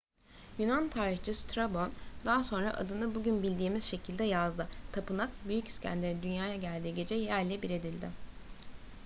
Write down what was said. yunan tarihçi strabon daha sonra adını bugün bildiğimiz şekilde yazdı. tapınak büyük i̇skender'in dünyaya geldiği gece yerle bir edildi